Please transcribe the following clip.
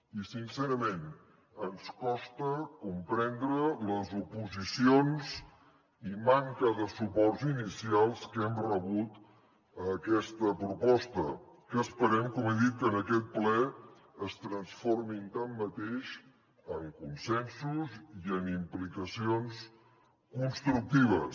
i sincerament ens costa comprendre les oposicions i manca de suports inicials que hem rebut a aquesta proposta que esperem com he dit que en aquest ple es transformin tanmateix en consensos i en implicacions constructives